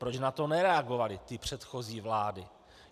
Proč na to nereagovaly ty předchozí vlády?